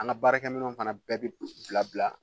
An ka baarakɛminɛw fana bɛɛ bɛ bila bila